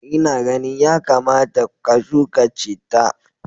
Ina ganin yakamata ka shuka chitta.